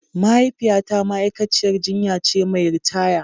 Mahaifiyata ma'aikaciyar jinya ce mai ritaya.